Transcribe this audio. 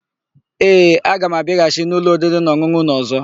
Ee, aga m abịaghachi n'ụlọ oririnaọn̄ụn̄ụ ụnụ ọ̀zọ́.